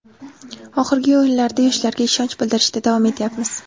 Oxirgi o‘yinlarda yoshlarga ishonch bildirishda davom etyapmiz.